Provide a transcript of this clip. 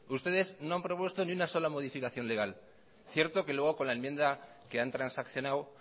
ustedes no han propuesto ni una sola modificación legal cierto que luego con la enmienda que han transaccionado